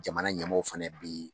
Jamana ɲɛmɔgɔw fana bɛ yen